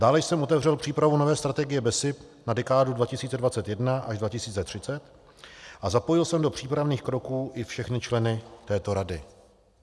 Dále jsem otevřel přípravu nové strategie BESIP na dekádu 2021 až 2030 a zapojil jsem do přípravných kroků i všechny členy této rady.